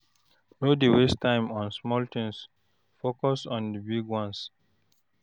No dey waste time on small tins, focus on di big ones.